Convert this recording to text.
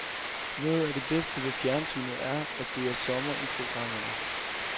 Noget af det bedste ved fjernsynet er, at det er sommer i programmerne.